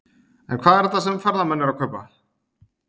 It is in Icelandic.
En hvað er þetta sem ferðamenn eru að kaupa?